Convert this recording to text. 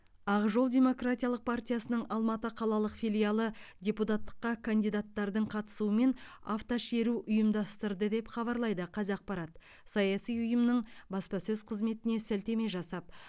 ақ жол демократиялық партиясының алматы қалалық филиалы депутаттыққа кандидаттардың қатысуымен автошеру ұйымдастырды деп хабарлайды қазақпарат саяси ұйымның баспасөз қызметіне сілтеме жасап